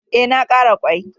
E, na ƙara ƙwai.